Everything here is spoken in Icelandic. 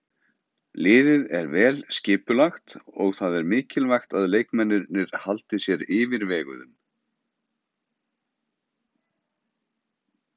Liðið er vel skipulagt og það er mikilvægt að leikmennirnir haldi sér yfirveguðum.